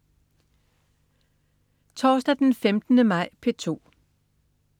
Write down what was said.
Torsdag den 15. maj - P2: